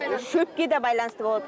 шөпке де байланысты болады